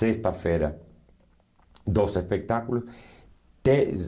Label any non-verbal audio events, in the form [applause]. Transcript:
Sexta-feira, dois espetáculos. [unintelligible]